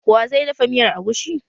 Wa zai dafa miyar agushi?